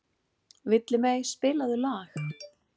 Villimey, spilaðu lag.